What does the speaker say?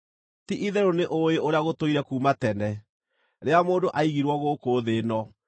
“Ti-itherũ nĩũũĩ ũrĩa gũtũire kuuma tene rĩrĩa mũndũ aigirwo gũkũ thĩ ĩno,